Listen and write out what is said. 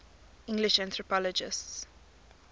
english anthropologists